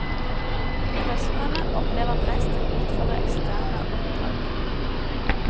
Professorene opplever press til å utføre eksterne oppdrag.